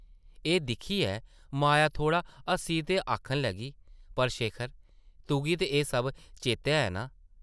एह् दिक्खियै माया थोह्ड़ा हस्सी ते आखन लगी, ‘‘पर शेखर तुगी ते एह् सब चेतै ऐ नां?’’